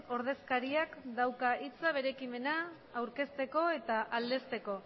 ordezkariak dauka hitza bere ekimena aurkezteko eta aldezteko